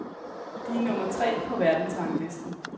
De er nummer tre på verdensranglisten.